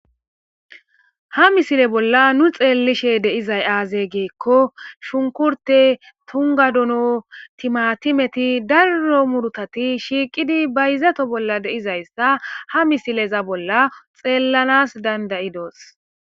ha misile bolla nu xeellishe deizay aazey geekko shunkurte tungadono timatimeti darro murutati shiiqidi ba yizato bolla deizayssa ha misileza bolla xeellanas dandayidoos